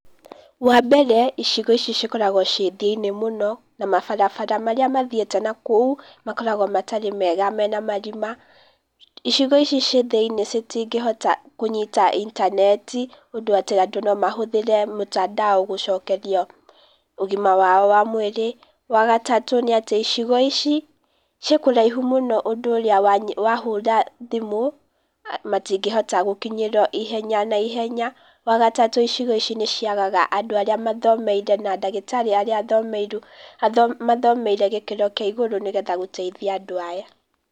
Wa mbere, icigo ici cikoragwo ciĩ thĩ-inĩ mũno, na mabarabara marĩa mathiĩte nakou, makoragwo matarĩ mega mena marima. Icigo ici ciĩ thĩ-inĩ citingĩhota kũnyita intaneti, ũndũ atĩ andũ no mahũthĩre mũtandao gũcokerio ũgima wao wa mwĩrĩ. Wa gatatũ nĩ atĩ, icigo ici ciĩ kũraihu mũno ũndũ ũrĩa wahũra thimũ matingĩhota gũkinyĩrwo ihenya, na ihenya. Wa gatatũ icigo ici nĩ ciagaga andũ arĩa mathomeire, na ndagĩtarĩ arĩa mathomeire gĩkĩro kĩa igũrũ nĩgetha gũteithia andũ aya.